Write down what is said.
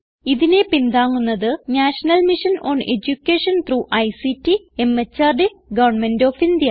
ഇതിനെ പിന്താങ്ങുന്നത് national mission on education through ICT MHRD government of India